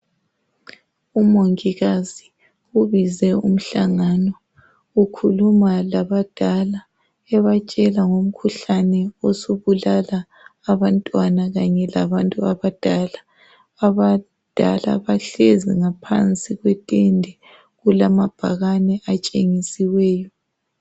Umongikazi ubize umhlangano ukhuluma labadala ebatshela ngomkhuhlane osubulala abantwana kanye labantu abadala, abadala bahlezi ngaphansi kwetende, kulamabhakane atshengisiweyo.